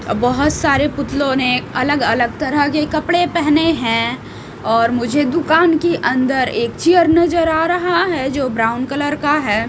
बहुत सारे पुतलों ने अलग अलग तरह के कपड़े पहने हैं और मुझे दुकान की अंदर एक चेयर नजर आ रहा है जो ब्राउन कलर का है।